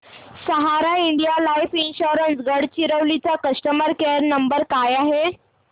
सहारा India life insurance Gadchiroli चा customer care number काय आहे